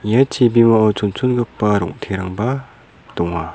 ia chibimao chonchongipa rong·terangba donga.